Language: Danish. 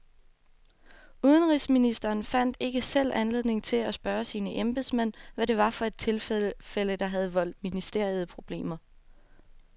Udenrigsministeren fandt ikke selv anledning til at spørge sine embedsmænd, hvad det var for et tilfælde, der havde voldt ministeriet problemer.